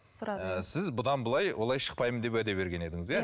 сіз бұдан былай олай шықпаймын деп уәде берген едіңіз иә